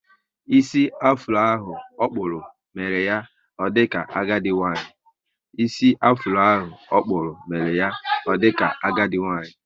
Ísì afuro ahụ okpúrụ, mere ya o dika agadi nwanyị